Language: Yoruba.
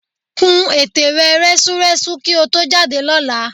Kún ète rẹ rẹ́súrẹ́sú kí o tó jáde lọ́la